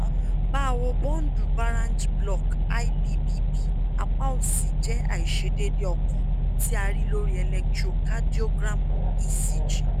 bawo bundle branch block lbbb apa osi jẹ aiṣedeede ọkan ti a rii lori electrocardiogram ecg